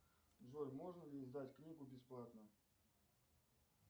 джой можно ли издать книгу бесплатно